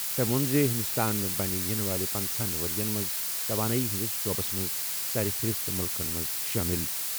تٔمۍ ووٚن زِ ہندوستان بنہِ یِنہٕ وٲلۍ پنژٕہنَ ؤرۍ یَن منٛز توانٲئی ہٕنٛدِس شعبَس منٛز سرفہرست مُلکَن منٛز شٲمِل۔